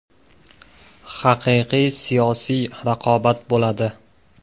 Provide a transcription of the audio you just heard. Haqiqiy siyosiy raqobat bo‘ladi.